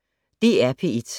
DR P1